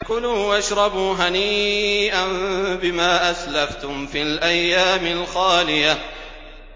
كُلُوا وَاشْرَبُوا هَنِيئًا بِمَا أَسْلَفْتُمْ فِي الْأَيَّامِ الْخَالِيَةِ